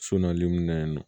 So naani mun na yen nɔ